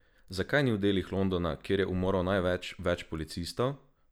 Zakaj ni v delih Londona, kjer je umorov največ, več policistov?